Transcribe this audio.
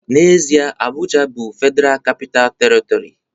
N'ezie, Abuja bụ Federal Capital Territory